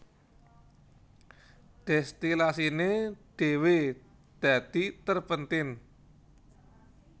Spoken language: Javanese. Dèstilasiné dhéwé dadi terpentin